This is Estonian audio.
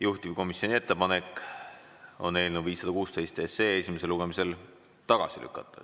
Juhtivkomisjoni ettepanek on eelnõu 516 esimesel lugemisel tagasi lükata.